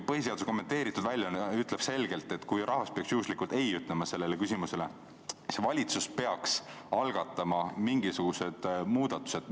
Põhiseaduse kommenteeritud väljaanne ütleb selgelt, et kui rahvas peaks sellele küsimusele juhuslikult ei vastama, siis valitsus peaks algatama mingisugused muudatused.